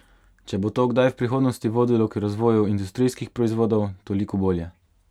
Če bo to kdaj v prihodnosti vodilo k razvoju industrijskih proizvodov, toliko bolje.